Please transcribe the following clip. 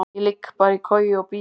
Ég ligg bara í koju og bíð.